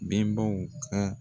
Bɛnbaw ka